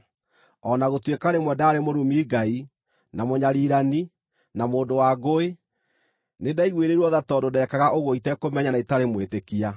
O na gũtuĩka rĩmwe ndaarĩ mũrumi Ngai, na mũnyariirani, na mũndũ wa ngũĩ, nĩndaiguĩrĩirwo tha tondũ ndekaga ũguo itekũmenya na itarĩ mwĩtĩkia.